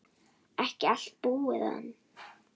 Ekki allt búið enn.